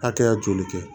Hakɛya joli kɛ